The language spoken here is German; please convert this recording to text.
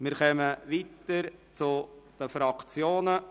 Wir fahren weiter mit den Fraktionen.